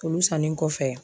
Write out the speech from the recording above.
Olu sannen kɔfɛ